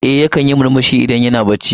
Eh yakan yi murmushi idan yana bacci.